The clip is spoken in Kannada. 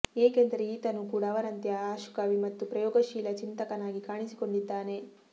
ಏಕೆಂದರೆ ಈತನೂ ಕೂಡ ಅವರಂತೆ ಆಶುಕವಿ ಮತ್ತು ಪ್ರಯೋಗಶೀಲ ಚಿಂತಕನಾಗಿ ಕಾಣಿಸಿಕೊಂಡಿದ್ದಾನೆ